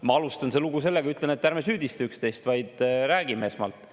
Ma alustan seda lugu sellega: ütlen, et ärme süüdista üksteist, vaid räägime esmalt.